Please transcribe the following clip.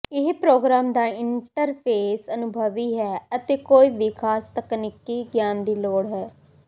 ਇਹ ਪ੍ਰੋਗਰਾਮ ਦਾ ਇੰਟਰਫੇਸ ਅਨੁਭਵੀ ਹੈ ਅਤੇ ਕੋਈ ਵੀ ਖਾਸ ਤਕਨੀਕੀ ਗਿਆਨ ਦੀ ਲੋੜ ਹੈ